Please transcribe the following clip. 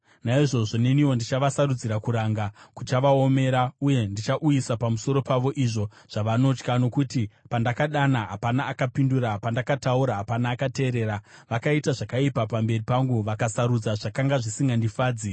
naizvozvo neniwo ndichavasarudzira kuranga kuchavaomera, uye ndichauyisa pamusoro pavo izvo zvavanotya. Nokuti pandakadana, hapana akapindura, pandakataura, hapana akateerera. Vakaita zvakaipa pamberi pangu vakasarudza zvisingandifadzi.”